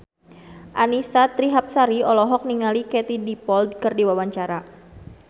Annisa Trihapsari olohok ningali Katie Dippold keur diwawancara